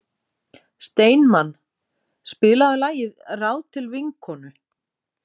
Steinmann, spilaðu lagið „Ráð til vinkonu“.